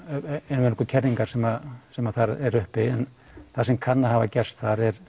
einvörðungu kerlingar sem sem þar eru uppi en það sem kann að hafa gerst